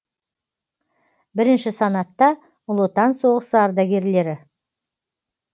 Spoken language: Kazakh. бірінші санатта ұлы отан соғысы ардагерлері